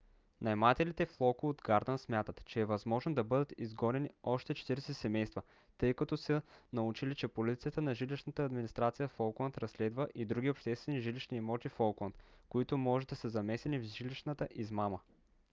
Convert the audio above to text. наемателите в локууд гардънс смятат че е възможно да бъдат изгонени още 40 семейства тъй като са научили че полицията на жилищната администрация в оукланд разследва и други обществени жилищни имоти в оукланд които може да са замесени в жилищната измама